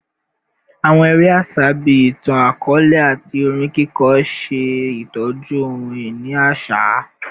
Awọn ere aṣa bii itan-akọọlẹ ati orin kiko ṣe itọju ohun-ini aṣa